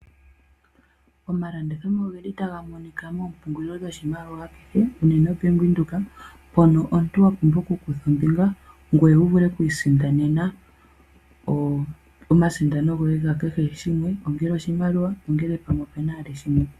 Omalandithomo ogeli taga monika moompumgulilo dhoshimaliwa kehe unene mombaanga yaWindhoek mpono omuntu wapumbwa okukutha ombinga ngoye wuvule okwiisindanena omasindano goye gakehe shimwe, ongele oshimaliwa, ongele pamwe opena shimwe.